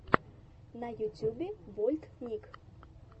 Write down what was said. на ютюбе вольтник